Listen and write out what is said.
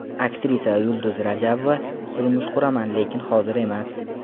Aktrisa Yulduz Rajabova: Turmush quraman, lekin hozir emas.